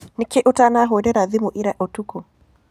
Nĩkĩ ũtanahũrĩra thimu ĩra ũtũkũ?